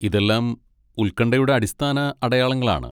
ഇതെല്ലാം ഉൽകൺഠയുടെ അടിസ്ഥാന അടയാളങ്ങളാണ്.